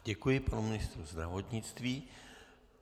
Děkuji panu ministrovi zdravotnictví.